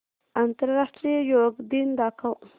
आंतरराष्ट्रीय योग दिन दाखव